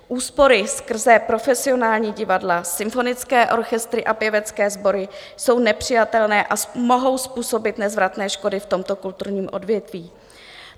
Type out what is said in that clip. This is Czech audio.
Úspory skrze profesionální divadla, symfonické orchestry a pěvecké sbory jsou nepřijatelné a mohou způsobit nezvratné škody v tomto kulturním odvětví.